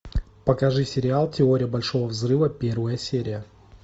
покажи сериал теория большого взрыва первая серия